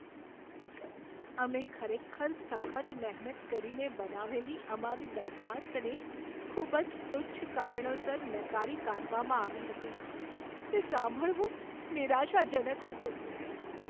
અમે ખરેખર સખત મહેનત કરીને બનાવેલી અમારી દરખાસ્તને ખૂબ જ તુચ્છ કારણોસર નકારી કાઢવામાં આવી હતી, તે સાંભળવું નિરાશાજનક હતું.